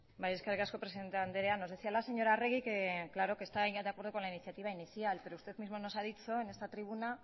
bai eskerrik asko presidente andrea nos decía la señora arregi que claro que está ella de acuerdo con la iniciativa inicial pero usted misma nos ha dicho en esta tribuna